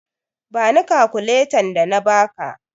Bani kakuletan da na ba ka!